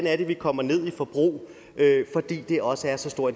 er vi kommer ned i forbrug fordi det også er så stor